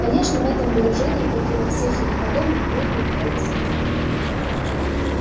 конечно в этом выражении как и во всех ему подобных нет никакого смысла